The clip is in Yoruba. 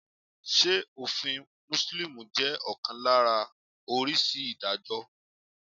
Ṣé òfin Mùsùlùmí jẹ́ ọ̀kan lára oríṣi Ìdájọ́?